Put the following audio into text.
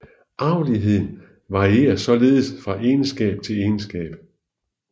Arveligheden varierer således fra egenskab til egenskab